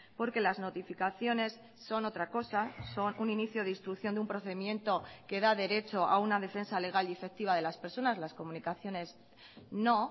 porque las notificaciones son otra cosa son un inicio de instrucción de un procedimiento que da derecho a una defensa legal y efectiva de las personas las comunicaciones no